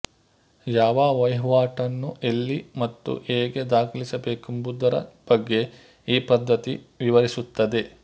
ಯಾವ ವಹಿವಾಟನ್ನು ಎಲ್ಲಿ ಮತ್ತು ಹೇಗೆ ದಾಖಲಿಸಬೇಕೆಂಬುದರ ಬಗ್ಗೆ ಈ ಪದ್ದತಿ ವಿವರಿಸುತ್ತದೆ